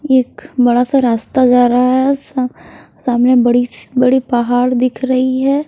एक बड़ा सा रास्ता जा रहा है स सामने बड़ी सी बड़ी पहाड़ दिख रही है।